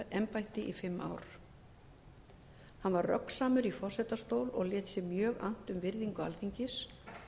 embætti í fimm ár hann var röggsamur í forsetastól lét sér mjög annt um virðingu alþingis